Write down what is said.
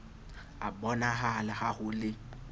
a bonahala ha ho le